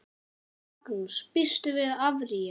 Magnús: Býstu við að áfrýja?